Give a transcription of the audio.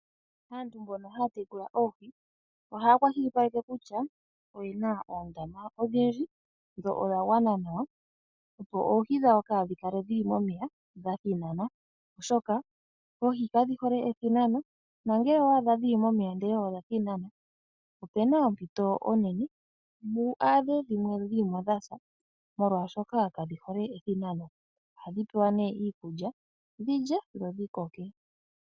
Aantu mbono haya tekula oohi ohaya kwashilipaleke kutya oyena oondama odhindji dho odhagwana nawa opo oohi dhawo kaadhikale momeya dha thinana ,oshoka oohi kadhihole ethinano nongele owa adha dhili momeya ndele odha thinana opena ompito onene wu adhe dhimwe dhasa molwaashoka kadhi hole ethinano . Ohadhi pewa nee iikulya dhilye dho dhikoke.